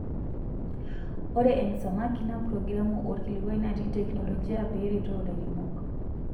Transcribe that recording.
Ore M-Samaki naa progiramu orkilikwai natii teknologia peretoo ilairemok.